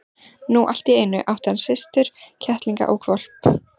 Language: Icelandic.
Nú allt í einu átti hann systur, kettling og hvolp.